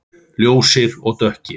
Ljósir og dökkir.